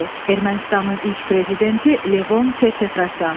Ermənistanın ilk prezidenti Levon Ter-Petrosyan.